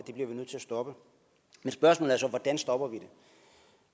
stoppe men spørgsmålet er så hvordan vi stopper det